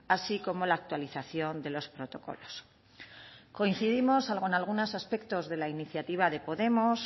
así como la actualización de los protocolos coincidimos salvo en algunos aspectos de la iniciativa de podemos